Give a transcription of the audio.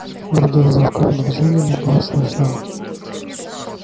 других звуков и движений не было слышно